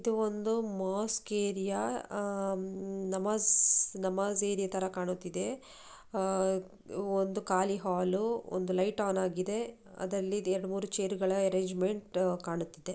ಇದು ಒಂದು mosque area ಆ ಮ್ ನಮಾಜ್ ಏರಿಯಾ ತರ ಕಾಣುತಿದೆ ಆ ಒಂದು ಖಾಲಿ ಹಾಲು ಒಂದು ಲೈಟ್ ಆನ್ ಆಗಿದೆ ಅದರಲ್ಲಿ ಎರಡು ಮೂರು ಚೇರ್ ಅರೇಂಜ್ಮೆಂಟ್ ಕಾಣುತಿದೆ.